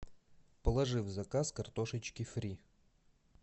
положи в заказ картошечки фри